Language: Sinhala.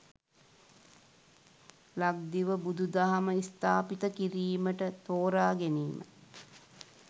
ලක්දිව බුදුදහම ස්ථාපිත කිරීමට තෝරාගැනීම